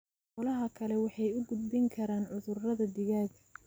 Xoolaha kale waxay u gudbin karaan cudurrada digaagga.